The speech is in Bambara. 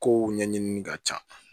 Kow ɲɛɲinini ka ca